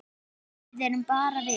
Við erum bara við